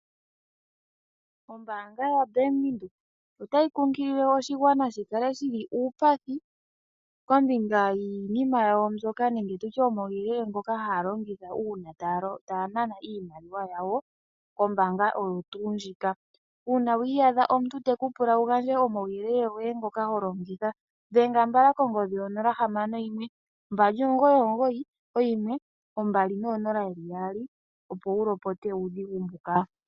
Ombaanga yoBank Windhoek otayi kunkilile oshigwana shi kale shili uupathi kombinga yiinima yawo mbyoka nenge tutye omauyelele ngoka haya longitha uuna taya nana iimaliwa yawo kombaanga oyo tuu ndjika. Uuna wiiyadha omuntu teku pula wu gandje omauyelele goye ngoka ho longitha dhenga mbala kongodhi yonola hamano yimwe mbali omugoyi omugoyi oyimwe ombali noonola yeli yaali opo wu lopote uudhigu mbuka.